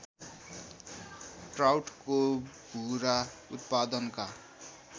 ट्राउटको भुरा उत्पादनका